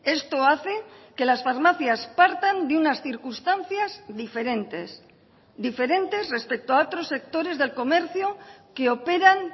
esto hace que las farmacias partan de unas circunstancias diferentes diferentes respecto a otros sectores del comercio que operan